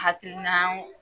Hakilinaw